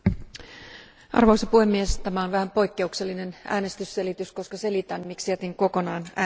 Arvoisa puhemies, tämä on vähän poikkeuksellinen äänestysselitys, koska selitän, miksi jätin kokonaan äänestämättä.